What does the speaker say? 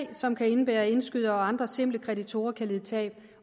som kan indebære at indskydere og andre simple kreditorer kan lide tab